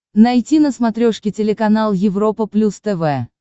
найти на смотрешке телеканал европа плюс тв